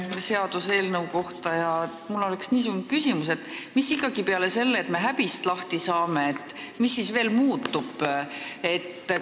Aga mul on niisugune küsimus: mis ikkagi peale selle, et me häbist lahti saame, veel muutub?